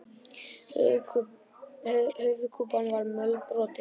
Höfuðkúpan var mölbrotin.